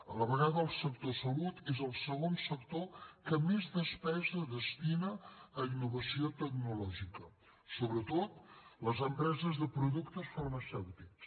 a la vegada el sector salut és el segon sector que més despesa destina a innovació tecnològica sobretot les empreses de productes farmacèutics